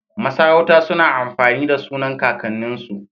Masarauta suna amfani da sunan kakan nin su